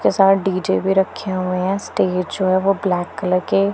के साथ डी_जे भी रखे हुए हैं स्टेज शो है वो ब्लैक कलर के--